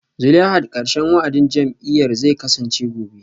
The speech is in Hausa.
Zulaihat karshen wa'adin jam'iyyar zai kasance gobe